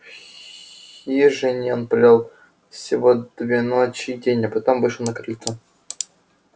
в хижине он провёл всего две ночи и день а потом вышел на крыльцо